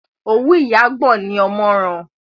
òwú ìyá gbọ̀n ní ọmọ ran.